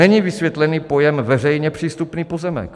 Není vysvětlený pojem veřejně přístupný pozemek.